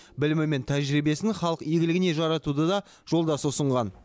білімі мен тәжірибесін халық игілігіне жаратуды да жолдасы ұсынған